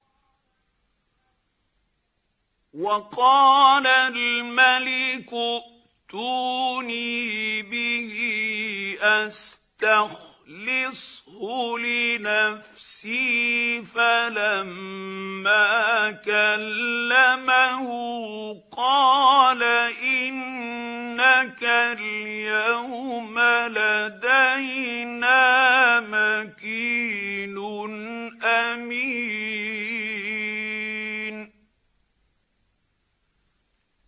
وَقَالَ الْمَلِكُ ائْتُونِي بِهِ أَسْتَخْلِصْهُ لِنَفْسِي ۖ فَلَمَّا كَلَّمَهُ قَالَ إِنَّكَ الْيَوْمَ لَدَيْنَا مَكِينٌ أَمِينٌ